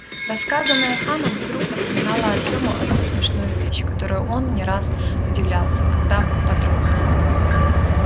рассказанное ханом вдруг напомнило артему одну смешную вещь которой он не раз удивлялся когда подрос